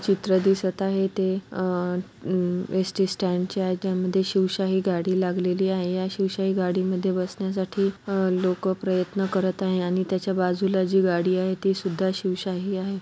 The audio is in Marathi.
चित्र दिसत आहे. ते अ अ एसटी स्टँड चे आहे. त्यामध्ये शिवशाही गाडी लागलेली आहे. या शिवशाही गाडी मध्ये बसण्यासाठी अ लोकं प्रयत्न करत आहे आणि त्याच्या बाजूला जी गाडी आहे. ती सुद्धा शिवशाही आहे.